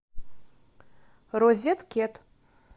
розеткед